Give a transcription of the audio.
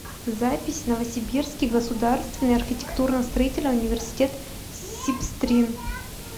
запись новосибирский государственный архитектурно строительный университет сибстрин